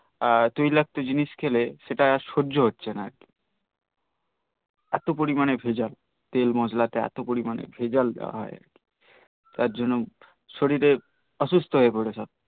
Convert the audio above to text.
তৈলাক্ত জিনিস খেলে সেটা আর সজ্ঝ্য হছে না এতো পরিমানে ভেজাল তেল মসলা টে এতো পরিমানে ভেজাল দেওয়াই তার জন্য সরিরে অসুস্থ হয়ে পরেছে